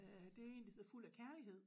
Øh det en der hedder Fuld af Kærlighed